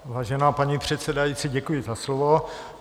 Vážená paní předsedající, děkuji za slovo.